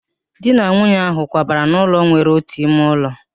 Di na nwunye ahị kwabara n'ụlọ nwere otu ime ụlọ